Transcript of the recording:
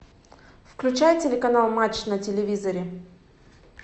включай телеканал матч на телевизоре